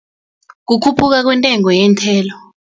Kukhuphuka kwentengo yeenthelo.